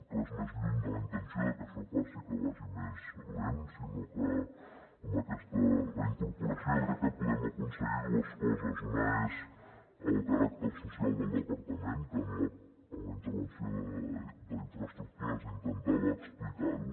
res més lluny de la intenció de que això faci que vagi més lent sinó que amb aquesta reincorporació crec que podem aconseguir dues coses una és el caràcter social del departament que en la intervenció d’infraestructures intentava explicar ho